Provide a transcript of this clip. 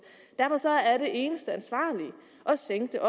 derfor er det eneste ansvarlige at sænke